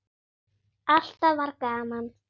Alltaf var gaman.